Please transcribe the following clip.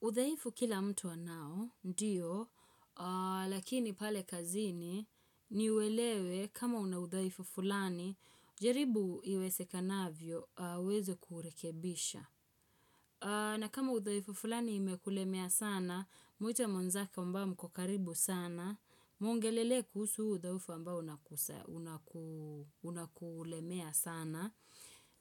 Udhaifu kila mtu anao, ndio, lakini pale kazini ni uwelewe kama una udhaifu fulani, jaribu iwezekanavyo, uweze kurekebisha. Na kama udhaifu fulani imekulemea sana, muite mwenzako ambao mko karibu sana, muongelele kusu huu udhaifu ambao unakulemea sana.